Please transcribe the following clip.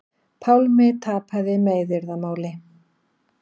Pálmi tapaði meiðyrðamáli